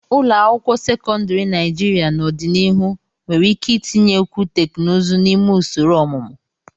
Ụlọ akwụkwọ sekọndrị Naijiria n'ọdịnihu nwere ike itinyekwu teknụzụ n'ime usoro ọmụmụ.